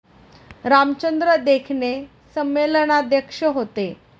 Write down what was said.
रामचंद्र देखणे संमेलनाध्यक्ष होते.